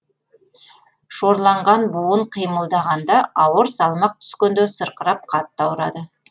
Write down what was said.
шорланған буын қимылдағанда ауыр салмақ түскенде сырқырап қатты ауырады